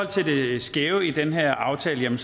til det skæve i den her aftale vil